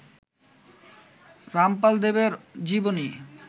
রামপাল দেবের জীবনী